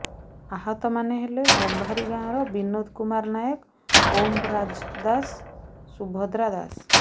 ଆହତମାନେ ହେଲେ ଗମ୍ଭାରୀ ଗାଁର ବିନୋଦ କୁମାର ନାୟକ ଓମ ରାଜ ଦାସ ଶୁଭଦ୍ରା ଦାସ